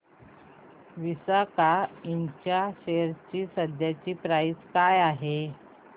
विसाका इंड च्या शेअर ची सध्याची प्राइस काय आहे